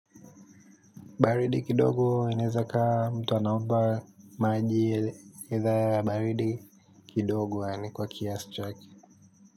Baridi kidogo inezakaa mtu anaomba maji ila baridi kidogo, yani kwa kiasi chaki.